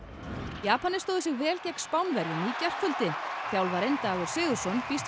Japanar stóðu sig vel gegn Spánverjum í gærkvöldi þjálfarinn Dagur Sigurðsson býst við